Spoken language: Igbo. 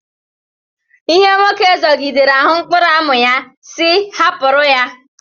Ihe nwoke zọgidere ahụ mkpụrụ amụ ya, sị hapụrụ ya